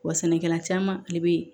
Wa sɛnɛkɛla caman ale bɛ